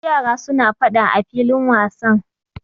Akwai yara suna faɗa a filin wasan.